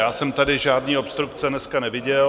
Já jsem tady žádné obstrukce dneska neviděl.